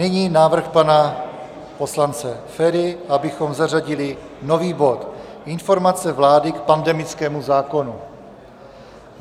Nyní návrh pana poslance Feriho, abychom zařadili nový bod Informace vlády k pandemickému zákonu.